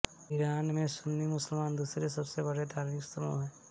Iran में सुन्नी मुसलमान दूसरे सबसे बड़े धार्मिक समूह हैं